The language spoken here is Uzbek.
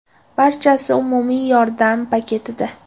Barchasi umumiy yordam paketida.